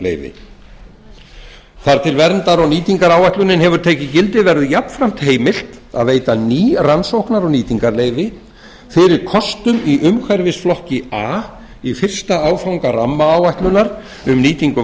nýtingarleyfi þar til verndar og nýtingaráætlunin hefur tekið gildi verður jafnframt heimilt að veita ný rannsóknar og nýtingarleyfi fyrir kostum í umhverfisflokki a í fyrsta áfanga rammaáætlunar um nýtingu